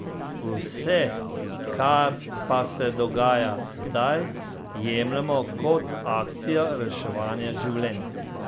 Vse, kar pa se dogaja zdaj, jemljemo kot akcijo reševanja življenj.